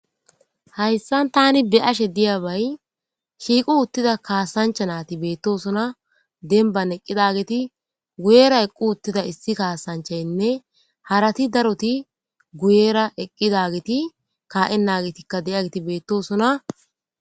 Hayssan tani be'ashe diyabay shiqiuttida kasancha nati betosona denban eqidageti guyera eqqiuttida issi kasanchaynne harati daroti guyera eqidageti ka'enagetikka de'yageti betosona.